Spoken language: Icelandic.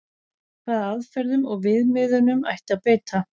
Hvaða aðferðum og viðmiðunum ætti að beita?